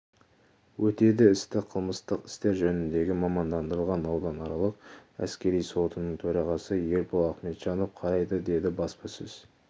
өтеді істі қылмыстық істер жөніндегі мамандандырылған ауданаралық әскери сотының төрағасы ербол ахметжанов қарайды деді баспасөз